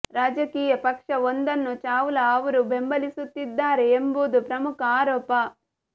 ರಾಜಕೀಯ ಪಕ್ಷ ಒಂದನ್ನು ಚಾವ್ಲಾ ಅವರು ಬೆಂಬಲಿಸುತ್ತಿದ್ದಾರೆ ಎಂಬುದು ಪ್ರಮುಖ ಆರೋಪ